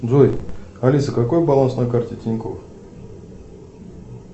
джой алиса какой баланс на карте тинькофф